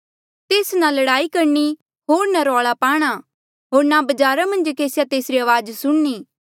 तेस ना लड़ाई करणी होर ना रौला पाणा होर ना बजारा मन्झ केसिया तेसरी अवाज सुणनी